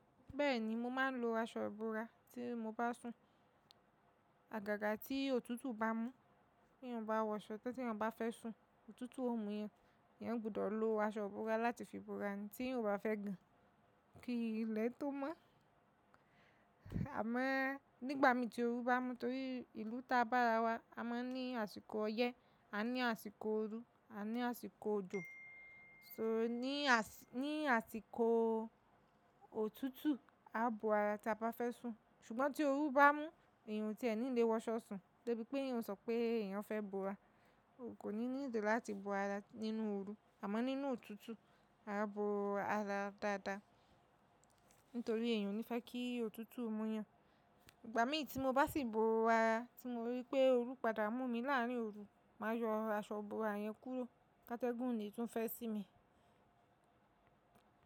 Bẹ́ẹ̀ni, mo máa ń lo aṣọ ìbora tí mo bá sùn. Àgàgà tí òtútù bá mú, tí n bá wọṣọ, tẹ́yàn bá fẹ́ sùn, òtútù ó mú ẹ̀yàn, ẹ̀yàn gbọ́dọ̀ lo aṣọ ìbora láti fi bora, tí ẹ̀yàn bá fẹ́ gan kí ilẹ̀ tó mọ́. Àmo o nígbà mí tí oru bá mú torí ìlú ta bá ara wa, a máa ń ní àsìkò ọyẹ́, a ní àsìkò ooru, a ní àsìkò òjò. So ní àsìkò òtútù, a bo ara ta bá fẹ́ sùn. Ṣùgbọ́n tí oru bá mú, ẹ̀eyàn tí ẹ́ ní lè wọṣọ sùn, débi pé ẹ̀eyàn sọ pé ẹ̀eyàn fẹ́ bora, o kò ní ní ìdí láti bo ara nínú ooru, àmọ́ nínú òtútù, a a bo ara dáadáa nítorí eẹ̀yàn ò ní fẹ́ kí òtútù mú yàn. Ìgbà mí tí mo bá sì bo ara tí mo rí pé oru padà mú mi láàrín ooru, màá yọ aṣọ ìbora yẹn kúrò, ká tẹ́gùn lè tún fẹ́ sí mi.